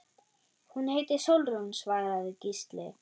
Hún heitir Sólrún, svaraði Gísli.